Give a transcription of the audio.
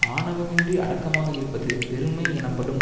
ஆணவமின்றி அடக்கமாக இருப்பது பெருமை எனப்படும்